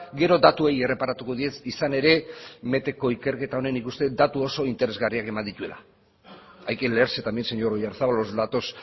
gero datuei erreparatuko diet izan ere meteko ikerketa honek nik uste det datu oso interesgarriak eman dituela hay que leerse también señor oyarzabal los datos